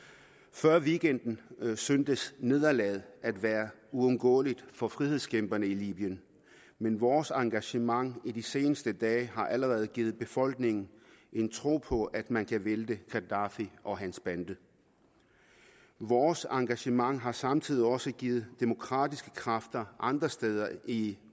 før weekenden syntes nederlaget at være uundgåeligt for frihedskæmperne i libyen men vores engagement i de seneste dage har allerede givet befolkningen en tro på at man kan vælte gaddafi og hans bande vores engagement har samtidig også givet demokratiske kræfter andre steder i